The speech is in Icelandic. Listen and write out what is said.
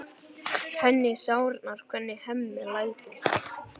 Henni sárnar hvernig Hemmi lætur.